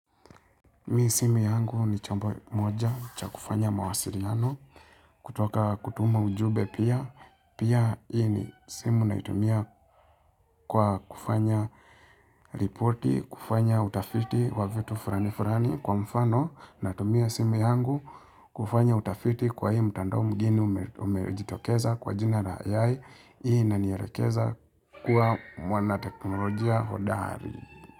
Mii simu yangu ni chombo moja cha kufanya mawasiliano kutoka kutuma ujumbe pia pia hii simu naitumia kwa kufanya ripoti kufanya utafiti wa vitu fulani fulani kwa mfano natumia simu yangu kufanya utafiti kwa hii mtando mgeni umejitokeza kwa jina la AI hii inanielekeza kuwa mwana teknolojia hodari.